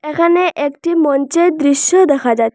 এখানে একটি মঞ্চের দৃশ্য দেখা যাচ্ছে।